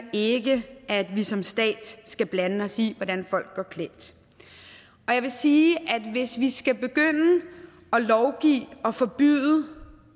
ikke at vi som stat skal blande os i hvordan folk går klædt og jeg vil sige at hvis vi skal begynde at lovgive og forbyde